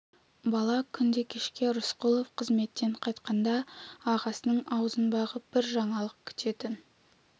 бала күнде кешке рысқұлов қызметтен қайтқанда ағасының аузын бағып бір жаңалық күтетін